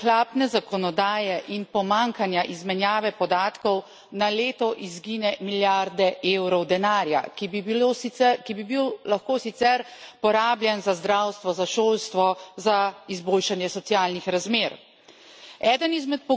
Dejstvo je, da zaradi ohlapne zakonodaje in pomanjkanja izmenjave podatkov na leto izginejo milijarde eurov denarja, ki bi bil lahko sicer porabljen za zdravstvo, za šolstvo, za izboljšanje socialnih razmer.